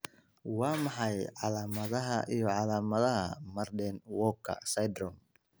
Waa maxay calaamadaha iyo calaamadaha Marden Walker syndrome?